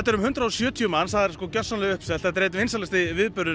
um hundrað og sjötíu manns og alveg uppselt enda vinsælasti viðburðurinn